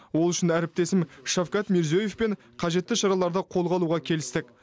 ол үшін әріптесім шавкат мирзиёевпен қажетті шараларды қолға алуға келістік